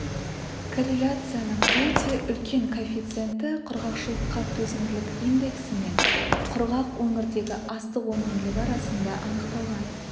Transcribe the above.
корреляцияның өте үлкен коэффициенті құрғақшылыққа төзімділік индексі мен құрғақ өңірдегі астық өнімділігі арасында анықталған